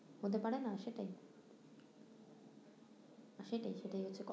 হতে পারে না সেটাই সেটাই সেটাই